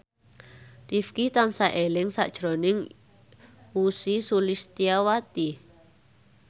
Rifqi tansah eling sakjroning Ussy Sulistyawati